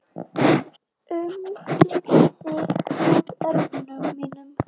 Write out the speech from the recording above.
Umlukt þig með örmum mínum.